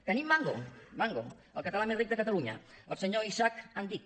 tenim mango mango el català més ric de catalunya el senyor isak andic